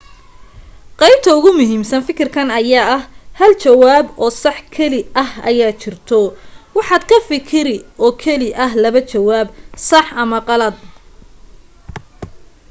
qeybta ugu muhiimsan fakirkan ayaa ah hal jawaab oo sax keli ah aya jirto waxaad ka fakiri oo keli ah labo jawaab sax ama qalad